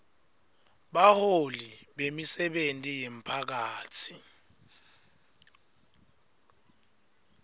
baholi bemisebenti yemphakatsi